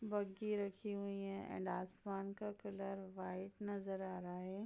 बग्गी रखी हुई हैं एंड आसमान का कलर व्हाइट नजर आ रहा है।